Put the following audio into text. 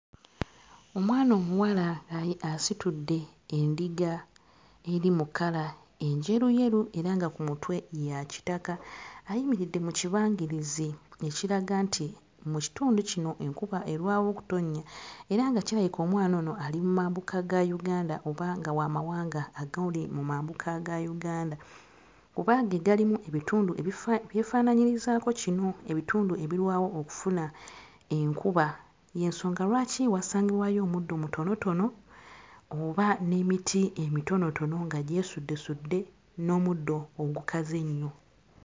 Omwana omuwala asitudde endiga eri mu kkala enjeruyeru era nga ku mutwe ya kitaka. Ayimiridde mu kibangirizi ekiraga nti mu kitundu kino enkuba erwawo okutonnya era nga kirabika omwana ono ali mu mambuka ga Uganda oba nga wa mawanga agali mu mambuka ga Uganda kuba ge galimu ebitundu ebifa ebyefaananyirizaako kino, ebitundu ebirwawo okufuna enkuba. Y'ensonga lwaki wasangibwayo omuddo mutonotono oba n'emiti emitonotono nga gyesuddesudde n'omuddo ogukaze ennyo.